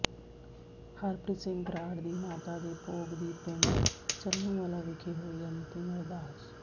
ਹਰਪ੍ਰਰੀਤ ਸਿੰਘ ਬਰਾੜ ਦੀ ਮਾਤਾ ਦੇ ਭੋਗ ਦੀ ਪਿੰਡ ਚੰਨੂਵਾਲਾ ਵਿਖੇ ਹੋਈ ਅੰਤਿਮ ਅਰਦਾਸ